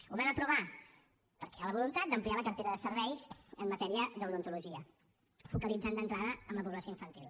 ho vam aprovar perquè hi ha la voluntat d’ampliar la cartera de serveis en matèria d’odontologia focalitzant ho d’entrada en la població infantil